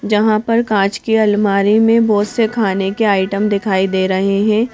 जहां पर कांच की अलमारी में बहुत से खाने के आइटम दिखाई दे रहे हैं।